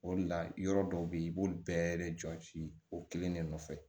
O de la yɔrɔ dɔw bɛ yen i b'olu bɛɛ de jɔsi o kelen de nɔfɛ